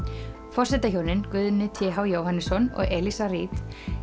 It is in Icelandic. forsetahjónin Guðni t h Jóhannesson og Eliza Reid